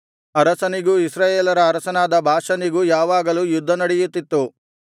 ಆಸನಿಗೂ ಇಸ್ರಾಯೇಲರ ಅರಸನಾದ ಬಾಷನಿಗೂ ಯಾವಾಗಲೂ ಯುದ್ಧನಡೆಯುತ್ತಿತ್ತು